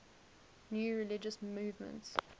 new religious movements